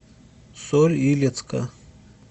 соль илецка